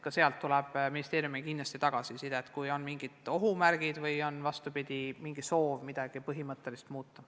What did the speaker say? Ka sealt tuleb ministeeriumile kindlasti tagasisidet, kui on mingid ohumärgid või, vastupidi, tahetakse midagi põhimõtteliselt muuta.